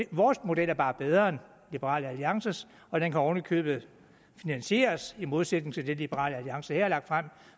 vores model er bare bedre end liberal alliances og den kan oven i købet finansieres i modsætning til det liberal alliance har lagt frem